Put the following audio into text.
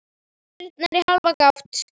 Dyrnar í hálfa gátt.